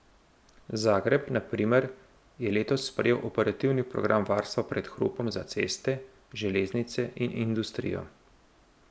Zagreb, na primer, je letos sprejel operativni program varstva pred hrupom za ceste, železnice in industrijo.